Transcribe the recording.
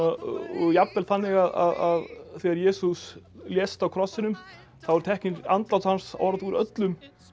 jafnvel þannig að þegar Jesús lést á krossinum þá er tekið í andlát hans orð úr öllum